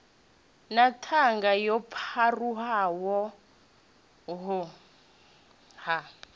na ṱhanga yo pharuwaho ha